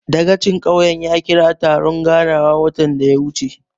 Dagacin ƙauyen ya ƙira taron ganawa watan da ya wuce.